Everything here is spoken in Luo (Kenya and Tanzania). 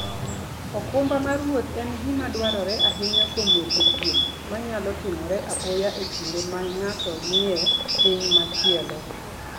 okumba mar wuoth en gima dwarore ahinya kuom weche thieth manyalo timore apoya e kinde ma ng'ato ni e piny machielo.